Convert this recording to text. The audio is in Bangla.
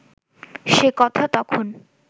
সে কথা তখন